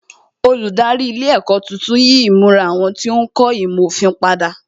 Olùdarí ilé ẹ̀kọ́ tuntun yí ìmura àwọn tí ń kọ́ ìmọ̀ òfin padà wón ní